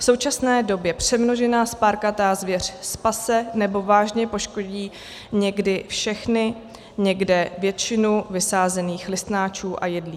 V současné době přemnožená spárkatá zvěř spase nebo vážně poškodí někde všechny, někde většinu vysázených listnáčů a jedlí.